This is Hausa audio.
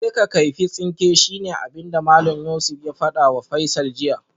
Je ka kaifi tsinke shine abinda Malam Yusuf ya fadawa Faisal jiya